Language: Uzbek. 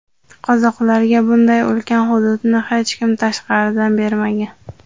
Qozoqlarga bunday ulkan hududni hech kim tashqaridan bermagan.